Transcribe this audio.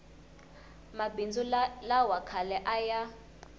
mabindzu lawa khale a ya